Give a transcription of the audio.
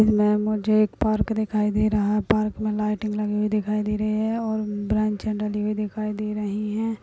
इनमें मुझे एक पार्क दिखाई दे रहा है। पार्क में लाइटिंग दिखाई दे रही हैं और ब्रांचए दिखाई दे रही हैं।